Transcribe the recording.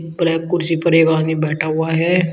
Black कुर्सी पर एक आदमी बैठा हुआ है।